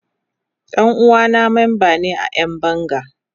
Dan uwana memba ne a Yan banga.